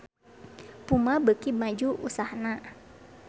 Puma beuki maju usahana